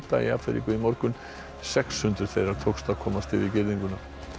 í Afríku í morgun sex hundruð þeirra tókst að komast yfir girðinguna